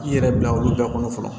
I yɛrɛ bila olu bɛɛ kɔnɔ fɔlɔ